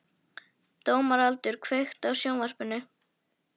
Dómaldur, kveiktu á sjónvarpinu.